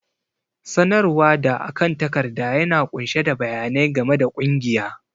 sanarwa da akan takarda yana ƙunshe da bayanai game da ƙungiya